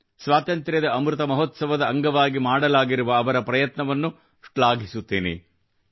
ಸ್ವಾತಂತ್ರ್ಯದ ಅಮೃತ ಮಹೋತ್ಸವದ ಅಂಗವಾಗಿ ಮಾಡಲಾಗಿರುವ ಅವರ ಪ್ರಯತ್ನವನ್ನು ಶ್ಲಾಘಿಸುತ್ತೇನೆ